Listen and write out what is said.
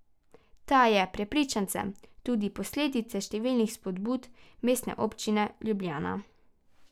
Ta je, prepričan sem, tudi posledica številnih spodbud Mestne občine Ljubljana.